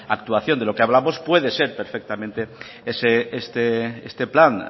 actuación de lo que hablamos puede ser perfectamente este plan